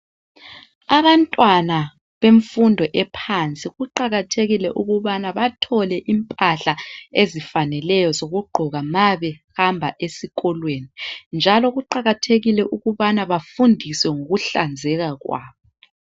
Abantwana bemfundo ephansi kuqakathekile ukubana bathole impahla ezifaneleyo zokugqoka ma behamba esikolweni. Njalo kuqakathekile ukubana bafundiswe ngokuhlanzeka kwabo.